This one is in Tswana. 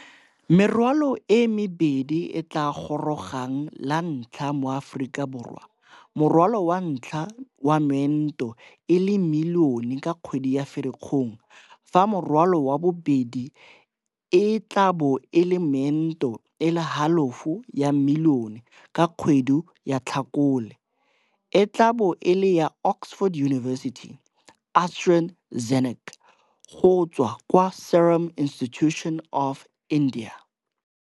Merwalo e mebedi e e tla gorogang lantlha mo Aforika Borwa, morwalo wa ntlha wa meento e le milione ka kgwedi ya Firikgong fa morwalo wa bobedi e tla bo e le meento e le halofo ya milione ka kgwedi ya Tlhakole, e tla bo e le ya Oxford University-AstraZeneca go tswa kwa Serum Institute of India.